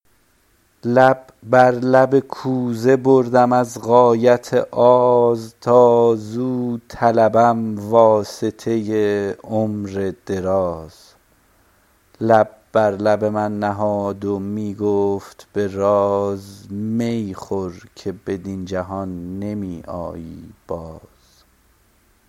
لب بر لب کوزه بردم از غایت آز تا زو طلبم واسطه عمر دراز لب بر لب من نهاد و می گفت به راز می خور که بدین جهان نمی آیی باز